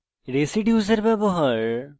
residues এর ব্যবহার